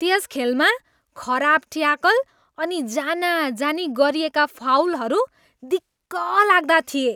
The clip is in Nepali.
त्यस खेलमा खराब ट्याकल अनि जानाजानी गरिएका फाउलहरू दिक्कलाग्दा थिए।